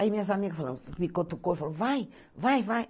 Aí minhas amigas falaram, me cutucou e falou, vai, vai, vai.